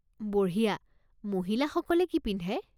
বঢ়িয়া। মহিলসকলে কি পিন্ধে?